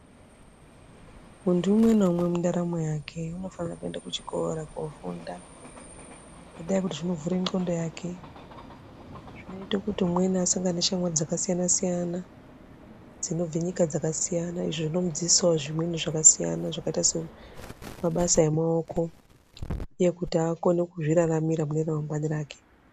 Muntu unwe naumwe mundaramo yake unofana kuenda kuchikoro kundofunda ngendaa yokuti zvinovhure ndxondo yake zvinoita kuti umweni asangane nezviro zvakasiyana siyana dzinobva nyika dzakasiyana . Izvi unomudzidzisawo zvimweni zvakaita semabasa emaoko ekuti muntu akone kuzviraramira kune ramangwani rake.